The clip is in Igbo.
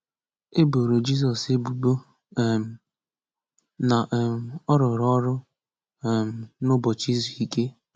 E boro Jizọs ebubo um na um ọ rụrụ ọrụ um n’ụbọchị izu ike.